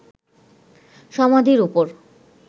সমাধির উপর